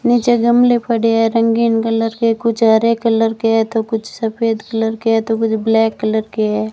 नीचे गमले पड़े हैं रंगीन कलर के कुछ हरे कलर के है तो कुछ सफेद कलर के हैं तो कुछ ब्लैक कलर के है।